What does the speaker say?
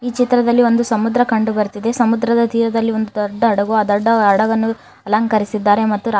ಈ ಚಿತ್ರದಲ್ಲಿ ಒಂದು ಸಮುದ್ರ ಕಂಡು ಬರ್ತಿದೆ ಸಮುದ್ರದ ತೀರದಲ್ಲಿ ಒಂದು ದೊಡ್ಡ ಹಡಗು ಅ ದೊಡ್ಡ ಹಡಗನ್ನು ಅಲಂಕರಿಸಿದ್ದಾರೆ ಮತ್ತು ರಾ --